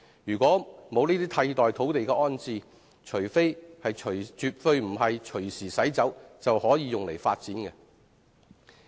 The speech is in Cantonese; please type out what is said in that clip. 如果沒有替代土地安置，絕非把車輛隨時駛走就可以把這些棕地用作發展。